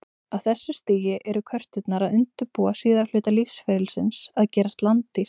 Á þessu stigi eru körturnar að undirbúa síðari hluta lífsferlisins, að gerast landdýr.